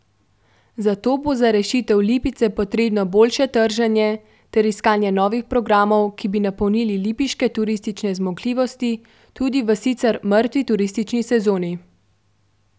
Zato bo za rešitev Lipice potrebno boljše trženje ter iskanje novih programov, ki bi napolnili lipiške turistične zmogljivosti tudi v sicer mrtvi turistični sezoni.